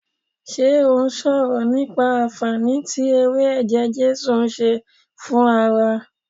Ṣé ó sọ̀rọ̀ nípa anfaani tí ewé eje jesu ń ṣe fún ara